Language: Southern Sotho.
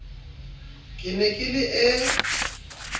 ke ne ke le e